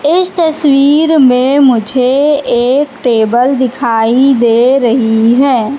इस तस्वीर में मुझे एक टेबल दिखाई दे रही है।